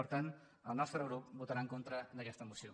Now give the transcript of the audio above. per tant el nostre grup votarà en contra d’aquesta moció